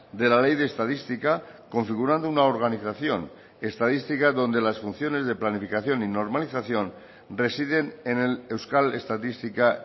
de la ley de estadística configurando una organización estadística donde las funciones de planificación y normalización residen en el euskal estatistika